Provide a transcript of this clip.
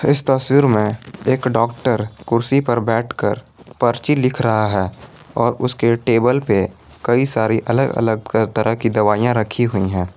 इस तस्वीर में एक डॉक्टर कुर्सी पर बैठकर पर्ची लिख रहा है और उसके टेबल पे कई सारी अलग अलग तरह की दवाइयां रखी हुई हैं